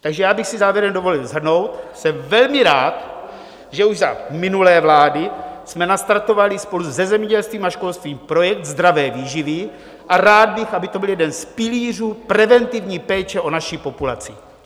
Takže já bych si závěrem dovolil shrnout: Jsem velmi rád, že už za minulé vlády jsme nastartovali spolu se zemědělstvím a školstvím projekt zdravé výživy, a rád bych, aby to byl jeden z pilířů preventivní péče o naši populaci.